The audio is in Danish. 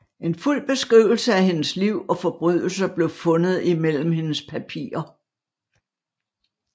En fuld beskrivelse af hendes liv og forbrydelser blev fundet imellem hendes papirer